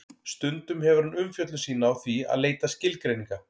Stundum hefur hann umfjöllun sína á því að leita skilgreininga.